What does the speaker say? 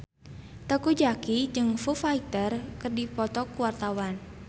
Teuku Zacky jeung Foo Fighter keur dipoto ku wartawan